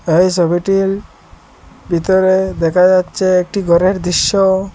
এই সবিটির ভিতরে দেখা যাচ্ছে একটি ঘরের দৃশ্য।